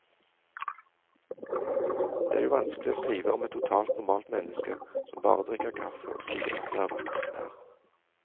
Det er jo vanskelig å skrive om et totalt normalt menneske, som bare drikker kaffe og sier at det er vakkert vær.